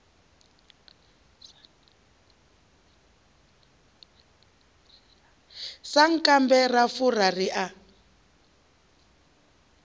sankambe ra fura ri a